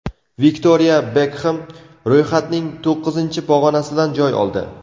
Viktoriya Bekxam ro‘yxatning to‘qqizinchi pog‘onasidan joy oldi.